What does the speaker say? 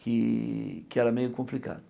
Que que era meio complicado.